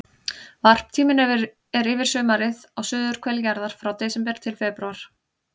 Varptíminn er yfir sumarið á suðurhveli jarðar, frá desember til febrúar.